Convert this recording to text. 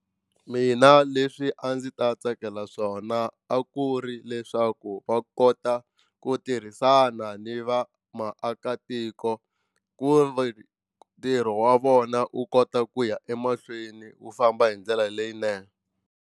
Mina leswi a ndzi ta tsakela swona a ku ri leswaku va kota ku tirhisana ni va maakatiko ku ri ntirho wa vona u kota ku ya emahlweni wu famba hi ndlela leyinene.